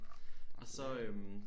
Og så øh